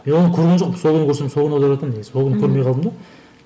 мен оны көрген жоқпын сол күні көрсем сол күн аударатын едім негізі сол күні көрмей қалдым да